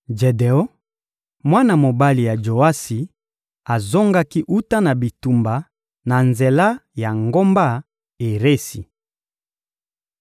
Jedeon, mwana mobali ya Joasi, azongaki wuta na bitumba na nzela ya ngomba Eresi.